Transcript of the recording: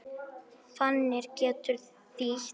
Fanir getur þýtt